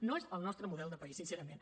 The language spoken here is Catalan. no és el nostre model de país sincerament